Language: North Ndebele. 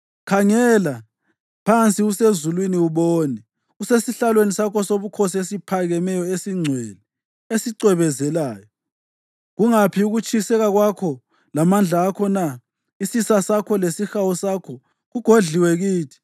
Khangela phansi usezulwini ubone, usesihlalweni sakho sobukhosi esiphakemeyo, esingcwele, esicwebezelayo. Kungaphi ukutshiseka kwakho lamandla akho na? Isisa sakho lesihawu sakho kugodliwe kithi.